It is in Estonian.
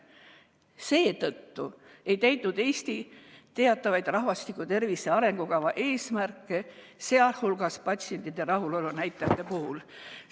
Seetõttu ei täitnud Eesti teatavaid rahvastiku tervise arengukava eesmärke, sh patsientide rahulolu näitajate puhul.